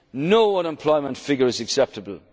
hopes eroded. No unemployment figure